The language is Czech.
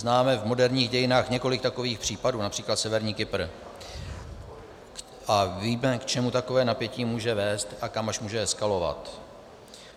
Známe v moderních dějinách několik takových případů, například Severní Kypr, a víme, k čemu také napětí může vést a kam až může eskalovat.